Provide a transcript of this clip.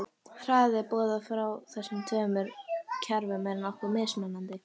Hraði boða frá þessum tveimur kerfum er nokkuð mismunandi.